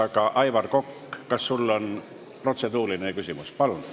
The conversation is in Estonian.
Aga, Aivar Kokk, kas sul on protseduuriline küsimus?